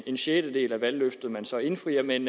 en sjettedel af valgløftet man så indfrier men